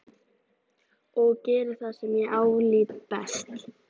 Og geri það sem ég álít best.